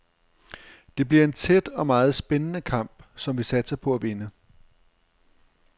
Det bliver en tæt og meget spændende kamp, som vi satser på at vinde.